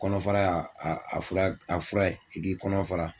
Kɔnɔfara a fura ye i k'i kɔnɔ fara